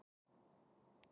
Kúla þaut á milli handanna.